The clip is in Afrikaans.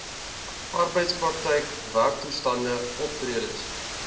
arbeidsprakryk werktoestande optredes